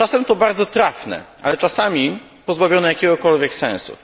Czasem to bardzo trafne, ale czasami pozbawione jakiegokolwiek sensu.